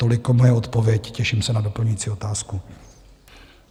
Toliko moje odpověď, těším se na doplňující otázku.